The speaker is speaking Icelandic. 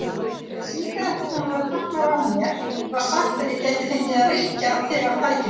Þegar sígaretturnar voru teknar var mér sagt að ég gæti fengið að reykja þegar tækifæri